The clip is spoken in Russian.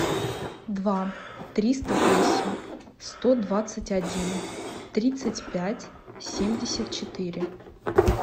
два триста восемь сто двадцать один тридцать пять семьдесят четыре